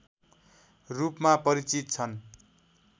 रूपमा परिचित छन्